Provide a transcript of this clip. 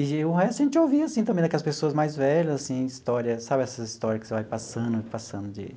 E o resto a gente ouvia, assim, também, daquelas pessoas mais velhas, assim, histórias, sabe essas histórias que você vai passando, passando de